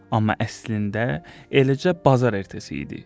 Amma əslində, eləcə bazar ertəsi idi.